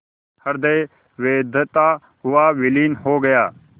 हृदय वेधता हुआ विलीन हो गया